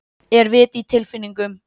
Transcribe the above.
Er vit í tilfinningum?